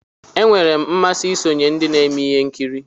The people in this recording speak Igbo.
Enwere m mmasị isonye ndị na-eme ihe nkiri.